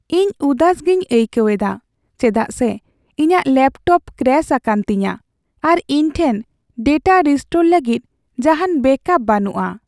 ᱤᱧ ᱩᱫᱟᱹᱥ ᱜᱮᱧ ᱟᱹᱭᱠᱟᱹᱣ ᱮᱫᱟ ᱪᱮᱫᱟᱜ ᱥᱮ ᱤᱧᱟᱹᱜ ᱞᱮᱯᱴᱚᱯ ᱠᱨᱮᱥ ᱟᱠᱟᱱ ᱛᱤᱧᱟᱹ, ᱟᱨ ᱤᱧ ᱴᱷᱮᱱ ᱰᱮᱴᱟ ᱨᱤᱥᱴᱳᱨ ᱞᱟᱹᱜᱤᱫ ᱡᱟᱦᱟᱱ ᱵᱮᱹᱠᱟᱯ ᱵᱟᱹᱱᱩᱜᱼᱟ ᱾